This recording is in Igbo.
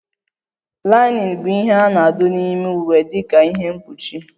Linen bụ ihe a na-adụ n'ime iwe dika ihe mkpuchi